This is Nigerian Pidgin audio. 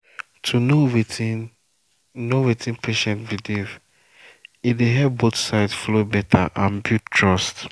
to know wetin know wetin patient believe e dey help both sides flow better and build trust.